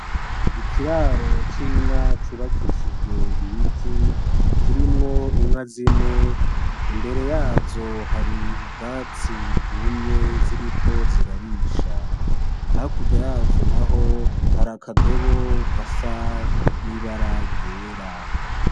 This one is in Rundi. Ni ikiraro c'inka cubakishijwe ibiti kirimwo inka zine imbere yazo hari ubwatsi bwumye ziriko zirarisha, hakurya yazo naho har'akadobo gasa n'ibara ryera.